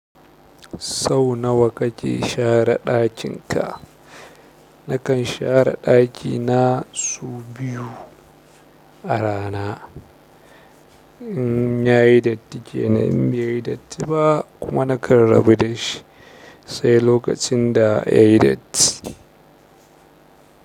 Sau nawa kake share ɗakinka. Nakan share ɗakina sau biyu a rana. In yayi datti kenan in baiyi datti ba kuma nakan rabu da shi sai lokacin da ya yi datti.